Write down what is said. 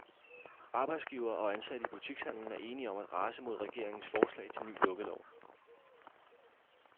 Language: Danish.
Arbejdsgivere og ansatte i butikshandelen er enige om at rase mod regeringens forslag til ny lukkelov.